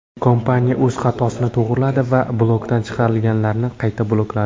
Kompaniya o‘z xatosini to‘g‘riladi va blokdan chiqarilganlarni qayta blokladi.